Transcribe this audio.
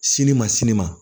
Sini ma sini ma